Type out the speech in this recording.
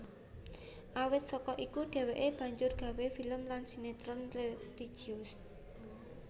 Awit saka iku dheweke banjur gawé film lan sinetron religius